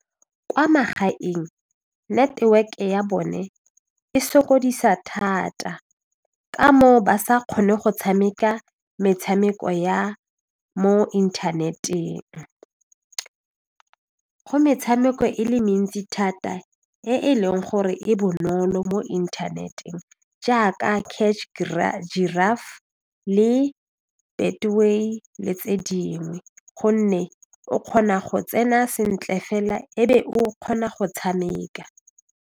Kwa magaeng network ya bone e sokodisa thata ka moo ba sa kgone go tshameka metshameko ya mo inthaneteng, go metshameko e le mentsi thata e e leng gore e bonolo mo inthaneteng jaaka catch giraffe le betway le tse dingwe gonne o kgona go tsena sentle fela e be o kgona go tshameka.